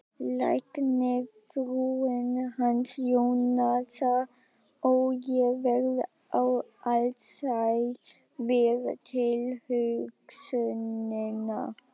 Læknisfrúin hans Jónasar, ó, ég verð alsæl við tilhugsunina